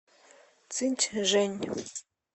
цинчжэнь